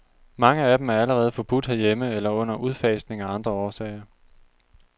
Mange af dem er allerede forbudt herhjemme eller under udfasning af andre årsager.